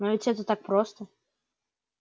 но ведь это так просто